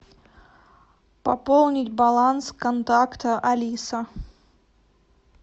пополнить баланс контакта алиса